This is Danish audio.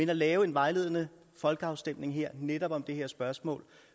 kan lave en vejledende folkeafstemning netop om det her spørgsmål